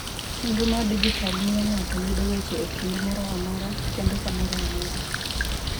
Chenro mar dijital miyo ng’ato yudo weche e kinde moro amora kendo kamoro amora.